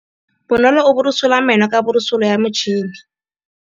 Bonolô o borosola meno ka borosolo ya motšhine.